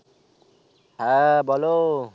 হ্যাঁ বলো